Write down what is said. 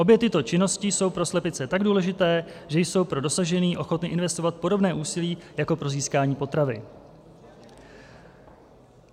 Obě tyto činnosti jsou pro slepice tak důležité, že jsou pro dosažení ochotny investovat podobné úsilí jako pro získání potravy.